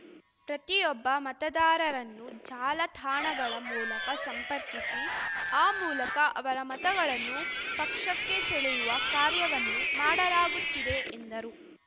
ಪ್ರತಿಯೊಬ್ಬ ಮತದಾರರನ್ನು ಜಾಲತಾಣಗಳ ಮೂಲಕ ಸಂಪರ್ಕಿಸಿ ಆ ಮೂಲಕ ಅವರ ಮತಗಳನ್ನು ಪಕ್ಷಕ್ಕೆ ಸೆಳೆಯುವ ಕಾರ್ಯವನ್ನು ಮಾಡಲಾಗುತ್ತಿದೆ ಎಂದರು